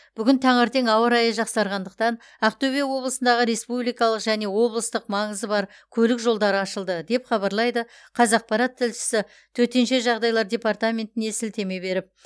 бүгін таңертең ауа райы жақсарғандықтан ақтөбе облысындағы республикалық және облыстық маңызы бар көлік жолдары ашылды деп хабарлайды қазақпарат тілшісі төтенше жағдайлар департаментіне сілтеме беріп